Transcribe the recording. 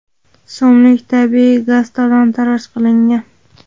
so‘mlik tabiiy gaz talon-toroj qilingan.